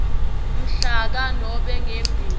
mhlaka nobe ngembi